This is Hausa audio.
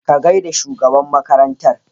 Ka gaida shugaban makarantar.